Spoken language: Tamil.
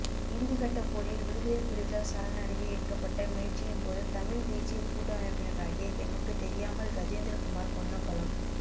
இறுதிக்கட்டப்போரில் விடுதலைப் புலிகள் சரணடைய எடுக்கப்பட்ட முயற்சியின்போது தமிழ்த் தேசியக் கூட்டமைப்பினராகிய எமக்குத் தெரியாமல் கஜேந்திரகுமார் பொன்னம்பலம்